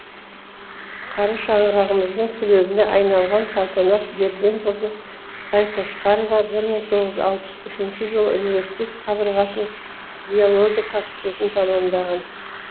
қара шаңырағымыздың түлегіне айналған салтанат берденқызы байқошқарова бір мың тоғыз жүз алпыс үшінші жылы университет қабырғасының биология факультетін тәмамдаған